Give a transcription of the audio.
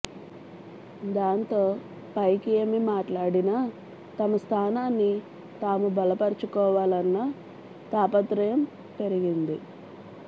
దాంతో పైకి ఏమి మాట్లాడినా తమ స్థానాన్ని తాము బలపర్చుకోవాలన్న తాపత్రయం పెరిగింది